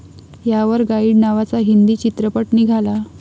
यावर गाईड नावाचा हिंदी चित्रपट निघाला.